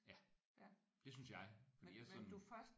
Ja det synes jeg fordi jeg er sådan